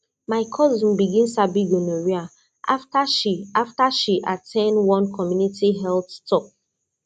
my cousin begin sabi gonorrhea after she after she at ten d one community health talk